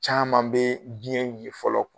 Caaman be diɲɛ wili fɔlɔ